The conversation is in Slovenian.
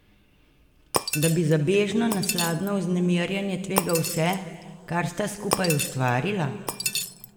Da bi za bežno nasladno vznemirjenje tvegal vse, kar sta skupaj ustvarila!